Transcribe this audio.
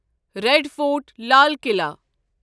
red fort Lal Qila